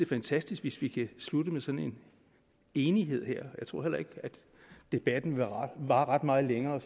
fantastisk hvis vi kan slutte med sådan en enighed her jeg tror heller ikke at debatten vil vare ret meget længere